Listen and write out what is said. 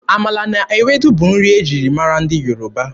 Amala na Ewedu bụ nri e ji mara ndị Yoruba.